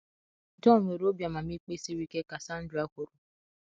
John nwere obi amamikpe siri ike, ka Sandra kwuru